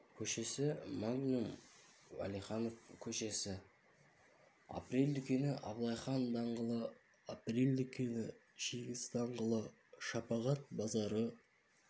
көшесі магнум уәлиханов көшесі апрель дүкені абылай хан даңғылы апрель дүкені жеңіс даңғылы шапағат базары